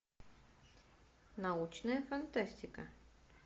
научная фантастика